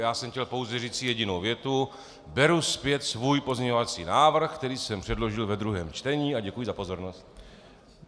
Já jsem chtěl pouze říci jedinou větu: Beru zpět svůj pozměňovací návrh, který jsem předložil ve druhém čtení, a děkuji za pozornost.